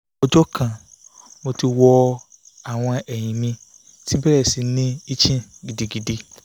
ojo kan mo ti wọ awọn ẹhin mi ti bẹrẹ si ni itching gidigidi